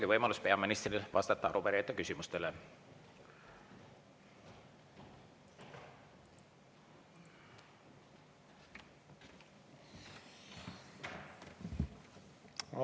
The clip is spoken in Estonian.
Ja nüüd on peaministril võimalus arupärijate küsimustele vastata.